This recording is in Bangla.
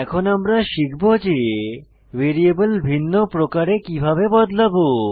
এখন আমরা শিখব যে ভ্যারিয়েবল ভিন্ন প্রকারে কিভাবে বদলাবো